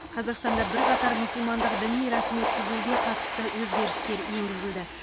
қазақстанда бірқатар мұсылмандық діни рәсім өткізуге қатысты өзгерістер енгізілді